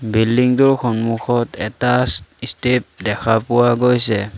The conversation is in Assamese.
বিল্ডিং টোৰ সন্মুখত এটা ষ্টে ষ্টেপ দেখা পোৱা গৈছে।